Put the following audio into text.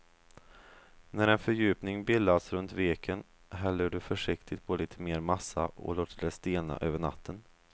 När en fördjupning bildats runt veken häller du försiktigt på lite mer massa och låter det stelna över natten.